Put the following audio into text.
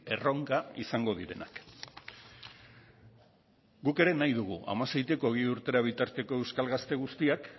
erronka izango direnak guk ere nahi dugu hamasei hogei urtera bitarteko euskal gazte guztiak